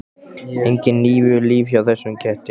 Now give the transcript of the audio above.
Engin níu líf hjá þessum ketti.